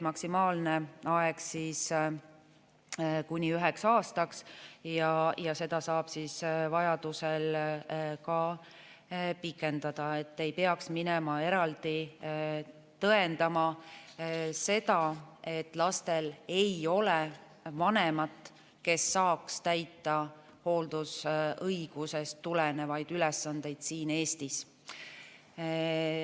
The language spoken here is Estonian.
Maksimaalne aeg on kuni üheks aastaks ja seda saab vajaduse korral ka pikendada, et ei peaks minema eraldi tõendama seda, et lastel ei ole vanemat, kes saaks täita hooldusõigusest tulenevaid ülesandeid siin Eestis.